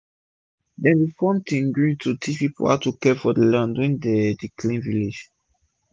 dem bi form 'team green' to teach people how to care for land when dem dey clean village